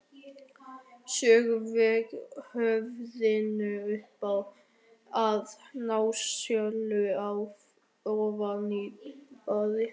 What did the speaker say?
Sökkvi höfðinu upp að nasaholum ofan í baðvatnið.